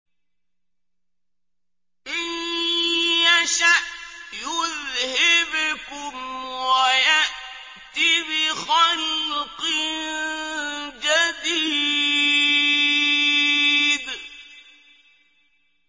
إِن يَشَأْ يُذْهِبْكُمْ وَيَأْتِ بِخَلْقٍ جَدِيدٍ